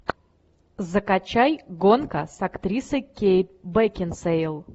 закачай гонка с актрисой кейт бекинсейл